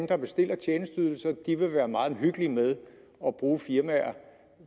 der bestiller tjenesteydelser vil være meget omhyggelige med at bruge firmaer